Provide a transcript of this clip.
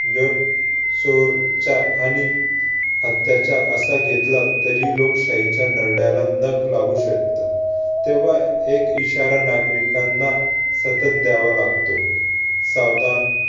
जर आणि अत्ताच्या असा घेतला तरीही लोकशाहीच्या नरड्याला नख लागू शकतं. तेव्हा एक इशारा नागरिकांना सतत द्यावा लागतो. सावधान